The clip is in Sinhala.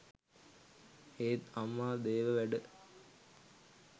ඒත් අම්මා දේව වැඩ